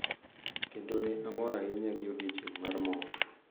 Kendo ne amor ahinya gi odiochieng’ mar mor.